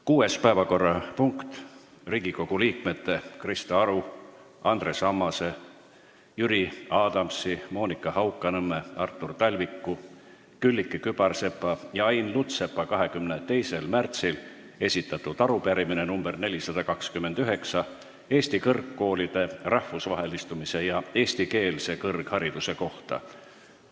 Kuues päevakorrapunkt: Riigikogu liikmete Krista Aru, Andres Ammase, Jüri Adamsi, Monika Haukanõmme, Artur Talviku, Külliki Kübarsepa ja Ain Lutsepa 22. märtsil esitatud arupärimine nr 429 Eesti kõrgkoolide rahvusvahelistumise ja eestikeelse kõrghariduse kohta.